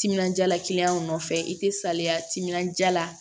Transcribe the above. Timinanja nɔfɛ i tɛ saliya timinandiya la